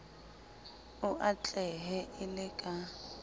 o atlehe e le ka